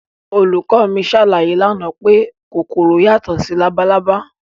Olùkọ́ mi ṣàlàyé lánàá pé kòkòrò yàtọ̀ sí labalábá